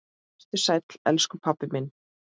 Vertu sæll, elsku pabbi minn.